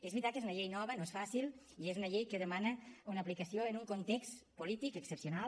és veritat que és una llei nova no és fàcil i que és una llei que demana una aplicació en un context polític excepcional